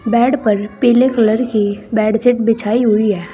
Bed पर पीले colour की बेडशीट बिछाई हुई है।